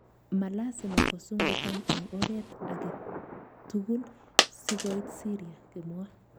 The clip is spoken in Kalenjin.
Malasima kosungukan eng oreet agetugul. sikoit Syria",kimwa.